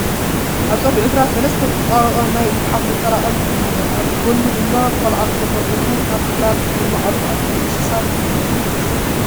ኣብ ፀግዒ ግራት ሰለስተ ዝተጣበቐ ናይ ጉሓፍ መጠረቐሚ እንሄ ኣብ ጉድኑ ድማ ቖልዓ ተጎበርክኹ ናብቲ ግራት የማዕድው ኣሎ እንስሳ ዝሕሉ እዩ ዝመስል ።